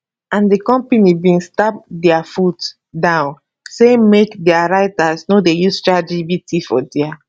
and di company bin stamp dia foot down say make dia writers no dey use chat gpt for dia